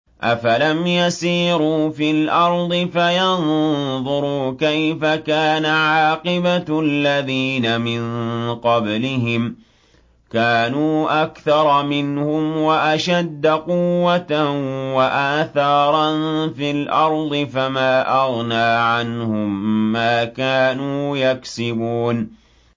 أَفَلَمْ يَسِيرُوا فِي الْأَرْضِ فَيَنظُرُوا كَيْفَ كَانَ عَاقِبَةُ الَّذِينَ مِن قَبْلِهِمْ ۚ كَانُوا أَكْثَرَ مِنْهُمْ وَأَشَدَّ قُوَّةً وَآثَارًا فِي الْأَرْضِ فَمَا أَغْنَىٰ عَنْهُم مَّا كَانُوا يَكْسِبُونَ